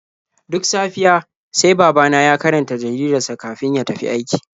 Duk safiya sai babana ya karanta jaridar sa kafin ya tafi aiki.